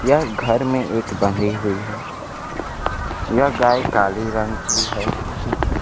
यह घर में एक बंधी हुई है यह गाय काली रंग की है।